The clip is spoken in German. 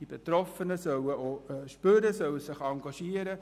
Die Betroffenen sollen zu spüren bekommen, dass es sich lohnt;